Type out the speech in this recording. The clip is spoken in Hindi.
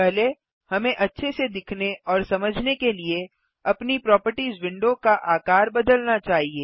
पहले हमें अच्छे से दिखने और समझने के लिए अपनी प्रोपर्टिज विंडो का आकार बदलना चाहिए